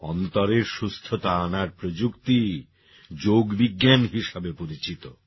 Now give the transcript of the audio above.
অন্তরের সুস্থতা আনার প্রযুক্তি যোগবিজ্ঞান হিসাবে পরিচিত